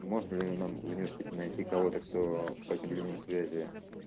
можно ли нам в университете найти кого-то кто по этим линиям связи